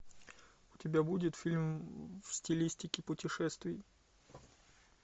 у тебя будет фильм в стилистике путешествий